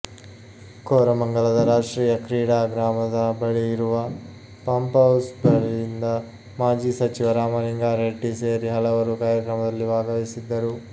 ಕೋರಮಂಗಲದ ರಾಷ್ಟ್ರೀಯ ಕ್ರೀಡಾಗ್ರಾಮದ ಬಳಿ ಇರುವ ಪಂಪ್ಹೌಸ್ ಬಳಿಯಿಂದ ಮಾಜಿ ಸಚಿವ ರಾಮಲಿಂಗಾರೆಡ್ಡಿ ಸೇರಿ ಹಲವರು ಕಾರ್ಯಕ್ರಮದಲ್ಲಿ ಭಾಗವಹಿಸಿದ್ದರು